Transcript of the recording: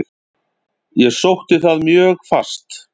Ég sótti það mjög fast.